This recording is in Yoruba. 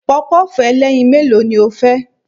Pọpọ́ọ̀fù ẹlẹ́yin mélòó ni o fẹ́?